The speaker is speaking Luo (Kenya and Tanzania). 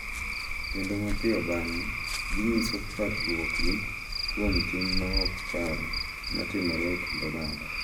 Kendo mapiyo bang’e, ginyiso parruokgi kuom tim ma ok kare ma timore e kind oganda.